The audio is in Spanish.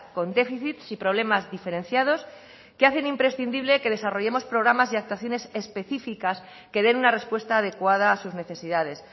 con déficits y problemas diferenciados que hacen imprescindible que desarrollemos programas y actuaciones específicas que den una respuesta adecuada a sus necesidades